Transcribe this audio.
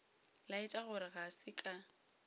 laetša gore ga se ka